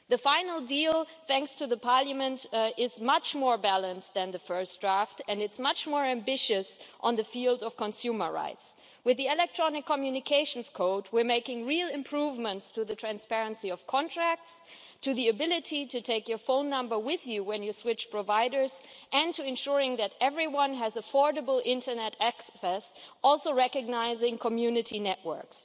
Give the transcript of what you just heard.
The final deal, thanks to Parliament, is much more balanced than the first draft and is much more ambitious in the field of consumer rights. With the Electronic Communications Code, we're making real improvements to the transparency of contracts, to the ability to take your phone number with you when you switch providers, and to ensuring that everyone has affordable internet access, also recognising community networks.